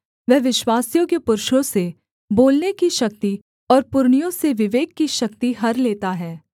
वह विश्वासयोग्य पुरुषों से बोलने की शक्ति और पुरनियों से विवेक की शक्ति हर लेता है